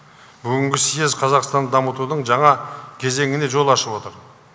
бүгінгі съез қазақстанды дамытудың жаңа кезеңіне жол ашып отыр